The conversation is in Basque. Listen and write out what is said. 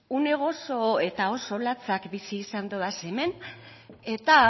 une gozo eta oso latzak bizi izan dodaz hemen eta